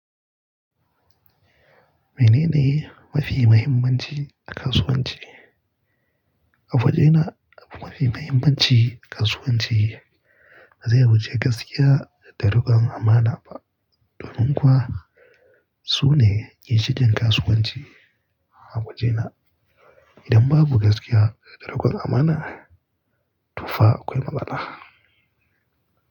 Menene mafi muhimmanci a kasuwanci? A wajena abu mafi muhimmanci a kasuwanci ba zai wuce gaskiya da rukon amana ba. Domin kuwa sune ke cikin kasuwanci a wajena. Idan babu gaskiya da rikon amana, to fa akwai matsala.